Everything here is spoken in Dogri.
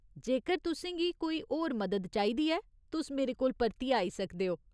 जेकर तुसें गी कोई होर मदद चाहिदी ऐ, तुस मेरे कोल परतियै आई सकदे ओ।